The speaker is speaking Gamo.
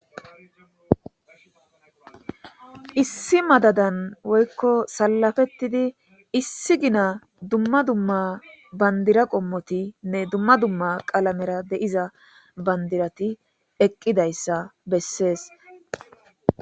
issi madadan woykko salafettidi issi gina dumma dumma bandira qommotinne dumma dumma qalamera deiza bandirati eqqidayssa bessees